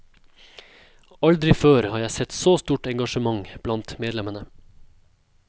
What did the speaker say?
Aldri før har jeg sett så stort engasjement blant medlemmene.